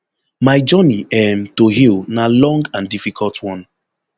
my journey um to heal na long and difficult one